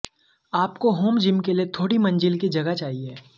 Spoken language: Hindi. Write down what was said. आपको होम जिम के लिए थोड़ी मंजिल की जगह चाहिए